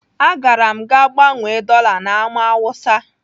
Agara m gaa gbanwee dọla na Ámá Hausa.